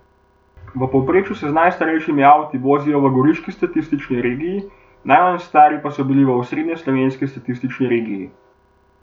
V povprečju se z najstarejšimi avti vozijo v goriški statistični regiji, najmanj stari pa so bili v osrednjeslovenski statistični regiji.